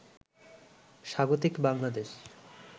স্বাগতিক বাংলাদেশ